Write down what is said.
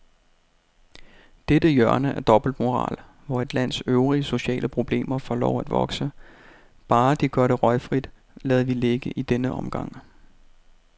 Dette hjørne af dobbeltmoral, hvor et lands øvrige sociale problemer får lov at vokse, bare de gør det røgfrit, lader vi ligge i denne omgang.